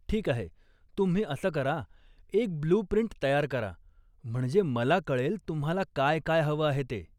ठीक आहे, तुम्ही असं करा, एक ब्लू प्रिंट तयार करा म्हणजे मला कळेल तुम्हाला काय काय हवं आहे ते.